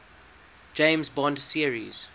james bond series